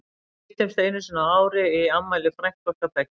Við hittumst einu sinni á ári í afmæli frænku okkar beggja.